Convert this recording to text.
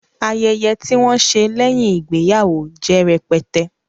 Ayẹyẹ tí wọn ṣe lẹ́yìn ìgbéyàwó jẹ́ rẹpẹtẹ